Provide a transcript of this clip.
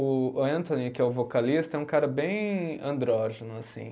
O Anthony, que é o vocalista, é um cara bem andrógeno assim